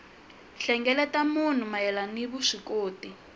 hlengeleta mahungu mayelana ni vuswikoti